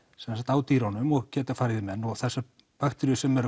á dýrunum og geta farið í menn og þessar bakteríur sem eru